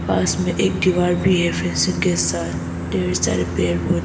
पास में एक दीवार भी है फेसिन्ग के साथ ढेर सारे पेड़ पौधे--